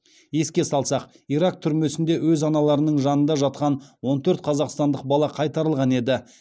еске салсақ ирак түрмесінде өз аналарының жанында жатқан он төрт қазақстандық бала қайтарылған еді